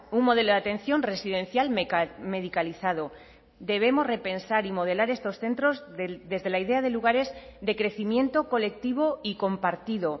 un modelo de atención residencial medicalizado debemos repensar y modelar estos centros desde la idea de lugares de crecimiento colectivo y compartido